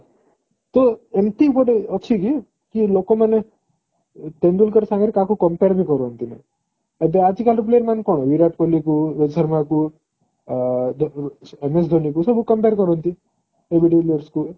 ତ ଏମିତି ଗୋଟେ ଅଛି କି କି ଲୋକ ମାନେ ତେନ୍ଦୁଲକର ସାଙ୍ଗରେ କାହାକୁ compare ବି କରନ୍ତିନି ଏବେ ଆଜି କଲି player ମାନେ କଣ ବିରାଟ କୋହଲି କୁ ରୋହିତ ଶର୍ମା କୁ MS ଧୋନୀ କୁ ସବୁ compare କରନ୍ତି